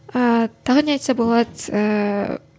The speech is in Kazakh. ііі тағы не айтса болады ыыы